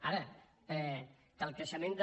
ara que el creixement del